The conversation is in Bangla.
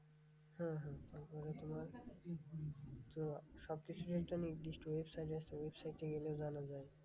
হম হম তারপরে তোমার তো সবকিছুরই একটা নির্দিষ্ট website আছে, website এ গেলে জানা যায়।